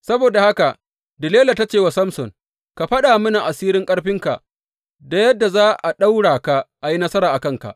Saboda haka Delila ta ce wa Samson, Ka faɗa miki asirin ƙarfinka da yadda za a ɗaura ka a yi nasara a kanka.